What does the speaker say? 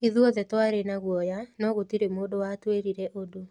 Ithuothe twarĩ na guoya, no gũtirĩ mũndũ watwĩrire ũndũ.